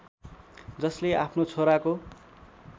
जसले आफ्नो छोराको